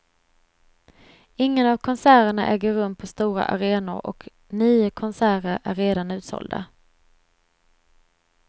Ingen av konserterna äger rum på stora arenor och nio konserter är redan utsålda.